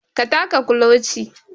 Ka taka kuloci